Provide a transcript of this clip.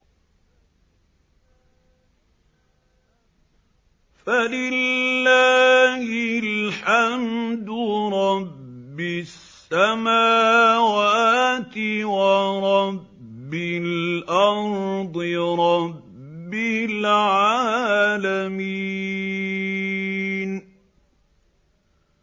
فَلِلَّهِ الْحَمْدُ رَبِّ السَّمَاوَاتِ وَرَبِّ الْأَرْضِ رَبِّ الْعَالَمِينَ